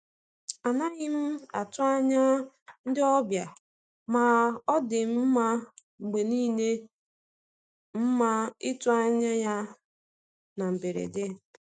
A naghị m atụ anya ndị ọbịa, ma ọ dị mma mgbe niile mma itụ anya ya na mberede.